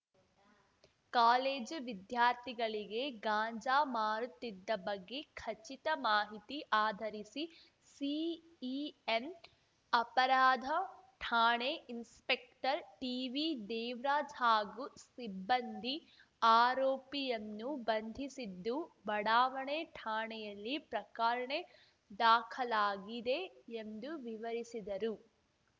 college ವಿದ್ಯಾರ್ಥಿಗಳಿಗೆ ಗಾಂಜಾ ಮಾರುತ್ತಿದ್ದ ಬಗ್ಗೆ ಖಚಿತ ಮಾಹಿತಿ ಆಧರಿಸಿ ಸಿಇಎನ್‌ ಅಪರಾಧ ಠಾಣೆ ಇನ್ಸಪೆಕ್ಟರ್‌ ಟಿವಿದೇವ್ ರಾಜ ಹಾಗೂ ಸಿಬ್ಬಂದಿ ಆರೋಪಿಯನ್ನು ಬಂಧಿಸಿದ್ದು ಬಡಾವಣೆ ಠಾಣೆಯಲ್ಲಿ ಪ್ರಕರ್ಣೆ ದಾಖಲಾಗಿದೆ ಎಂದು ವಿವರಿಸಿದರು